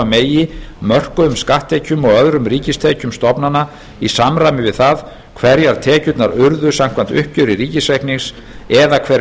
megi mörkuðum skatttekjum og öðrum ríkistekjum stofnana í samræmi við það hverjar tekjurnar urðu samkvæmt uppgjöri ríkisreiknings eða hver